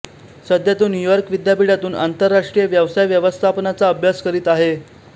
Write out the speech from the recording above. सध्या तो न्यूयॉर्क विद्यापीठातून आंतरराष्ट्रीय व्यवसाय व्यवस्थापनाचा अभ्यास करीत आहे